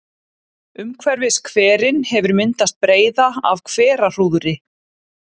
Umhverfis hverinn hefur myndast breiða af hverahrúðri.